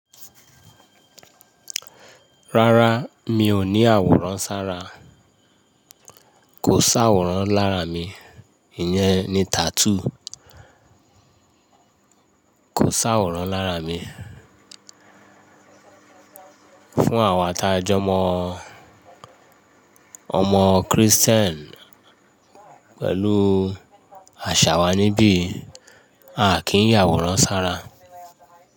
Rárá, mi ò ní àwòrán ṣára. Kò sáwòrán lára mi, ìyẹn ni tattoo. Kò sáwòrán lára mi. Fún àwọn ata jọmọ ọmọ Kristẹ́n pẹ̀lú àṣà wa níbí, a kì í yàwòrán sára.